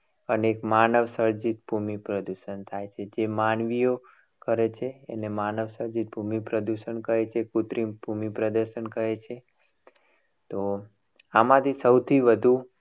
અને એક માનવસર્જિત પ્રદૂષણ થાય છે. એટલે માનવી કરે છે. એને માનવસર્જિત ભૂમિ પ્રદૂષણ કહે છે. કૃત્રિમ ભૂમિ પ્રદૂષણ કહે છે. તો આમાંથી સૌથી વધુ